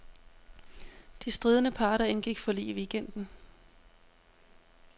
De stridende parter indgik forlig i weekenden.